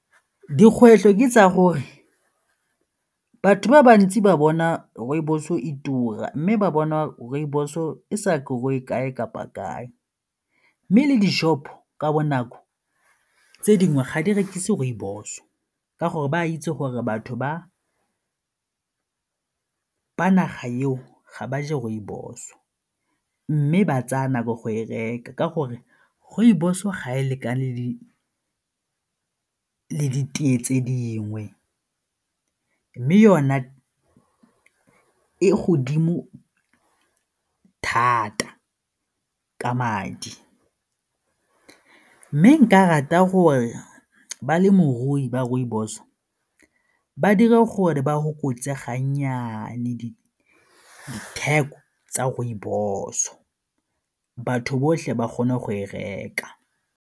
Dikgwetlho ke tsa gore batho ba bantsi ba bona rooibos o e tura mme ba bona rooibos e sa grow-e kae kapa kae mme le di-shop ka bonako tse dingwe ga di rekise rooibos ka gore ba itse gore batho ba naga eo ga ba je rooibos-o mme ba tsaya nako go e reka ka gore rooibos o ga e lekane di le ditee tse dingwe mme yone e godimo thata ka madi. Mme nka rata gore balemirui ba rooibos ba dire gore ba fokotse ga nnyane ditheko tsa rooibos-o, batho botlhe ba kgone go e reka.